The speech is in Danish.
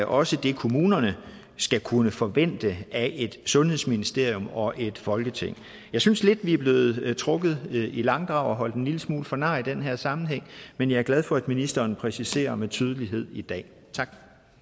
også det kommunerne skal kunne forvente af et sundhedsministerium og et folketing jeg synes lidt det er blevet blevet trukket i langdrag og at holdt en lille smule for nar i den her sammenhæng men jeg er glad for at ministeren præciserer med tydelighed i dag tak